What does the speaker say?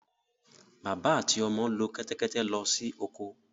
Bàbá àti ọmọ lo kẹ́tẹ́kẹtẹ́ lọ sí oko.